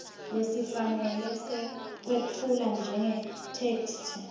lesifanele sekwetfula njengetheksthi